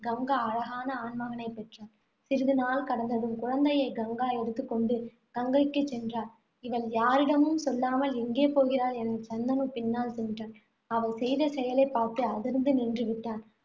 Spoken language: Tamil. கங்கா அழகான ஆண்மகனைப் பெற்றாள். சிறிதுநாள் கடந்ததும், குழந்தையை கங்கா எடுத்துக் கொண்டு கங்கைக்கு சென்றாள். இவள் யாரிடமும் சொல்லாமல் எங்கே போகிறாள் என சந்தனு பின்னால் சென்றான். அவள் செய்த செயலைப் பார்த்து அதிர்ந்து நின்று விட்டான்.